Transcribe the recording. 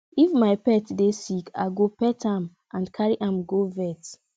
if my pet dey sick i go pet am and carry am go vet